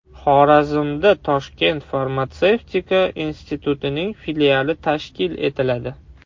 Xorazmda Toshkent farmatsevtika institutining filiali tashkil etiladi.